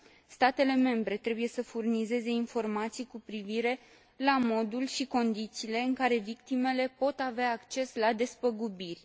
Statele membre trebuie să furnizeze informații cu privire la modul și condițiile în care victimele pot avea acces la despăgubiri.